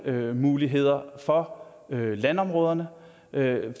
lånemuligheder for landområderne